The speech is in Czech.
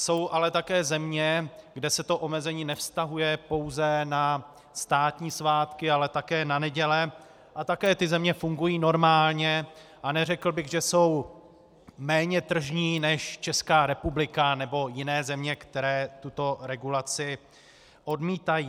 Jsou ale také země, kde se to omezení nevztahuje pouze na státní svátky, ale také na neděle a také tyto země fungují normálně a neřekl bych, že jsou méně tržní než Česká republika nebo jiné země, které tuto regulaci odmítají.